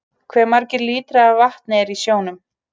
Hve margir lítrar af vatni eru í sjónum?